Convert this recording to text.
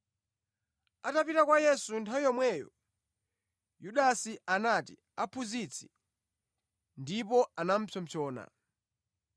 Atapita kwa Yesu nthawi yomweyo, Yudasi anati, “Aphunzitsi,” ndipo anapsompsona.